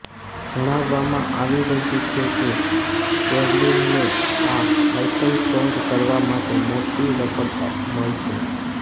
જણાવવામાં આવી રહ્યુ છે કે શેર્લિનને આ આયટમ સોંગ કરવા માટે મોટી રકમ મળશે